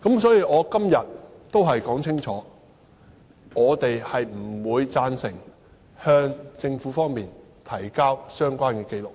所以，我今天要說清楚，我們不會贊成向政府提交相關紀錄。